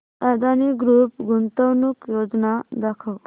Adani group गुंतवणूक योजना दाखव